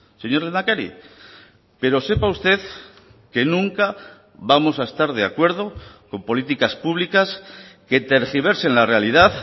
señor lehendakari pero sepa usted que nunca vamos a estar de acuerdo con políticas públicas que tergiversen la realidad